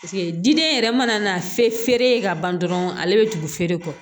diden yɛrɛ mana na feere ye ka ban dɔrɔn ale bɛ tugu feere kɔ